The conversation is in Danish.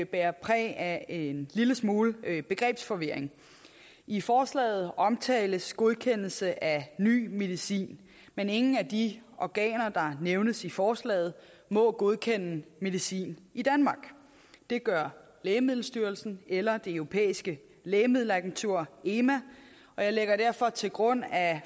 bærer præg af en lille smule begrebsforvirring i forslaget omtales godkendelse af ny medicin men ingen af de organer der nævnes i forslaget må godkende medicin i danmark det gør lægemiddelstyrelsen eller det europæiske lægemiddelagentur ema og jeg lægger derfor til grund at